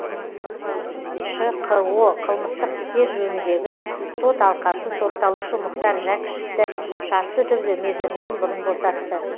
шқо қылмыстық істер жөніндегі сот алқасы сотталушы мұхтар жәкішевті шартты түрде мерзімінен бұрын босатты